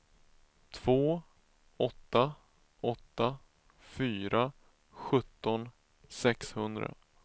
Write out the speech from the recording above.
två åtta åtta fyra sjutton sexhundra